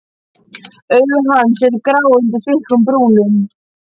Augu hans eru grá undir þykkum brúnum.